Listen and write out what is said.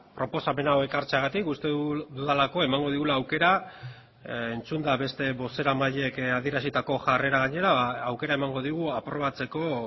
proposamen hau ekartzeagatik uste dudalako emango digula aukera entzunda beste bozeramaileek adierazitako jarrera gainera aukera emango digu aprobatzeko